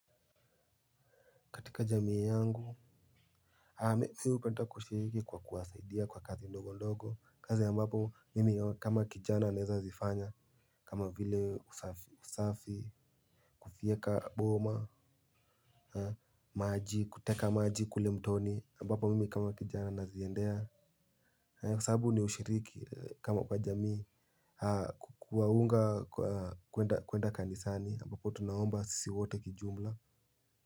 Katika jamii yangu mimi hupenda kushiriki kwa kusaidia kwa kazi ndogo ndogo, kazi ambapo mimi kama kijana ninaweza kuzifanya. Kama vile usafi, kufyeka boma. Maji, kuteka maji kule mtoni ambapo mimi kama kijana naziendea. Kwa sababu ni ushiriki kama kwa jamii. Kwa kuwaunga kwenda kanisani ambapo tunaomba sisi wote kwa jumla.